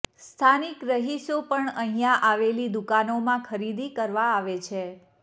સ્થાનિક રહીશો પણ અહીંયા આવેલી દુકાનોમાં ખરીદી કરવા આવે છે